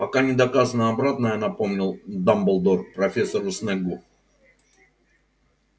пока не доказано обратное напомнил дамблдор профессору снеггу